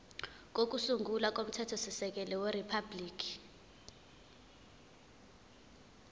kokusungula komthethosisekelo weriphabhuliki